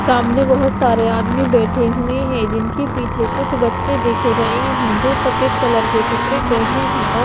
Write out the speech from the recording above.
सामने बहुत सारे आदमी बैठे हुए हैं जिनके पीछे कुछ बच्चे दिख रहे हैं जो सफेद कलर के कपड़े पहने हैं और--